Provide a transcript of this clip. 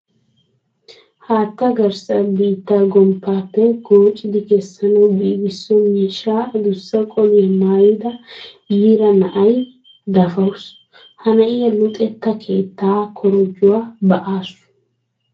Haattaa garssa biittaa gomppaappe goochchidi kessanawu giigisso miishshaa adussa qoliya maayida yiira na'iya dafawusu. Ha na'iya luxetta keettaa korojjuwa ba'aasu.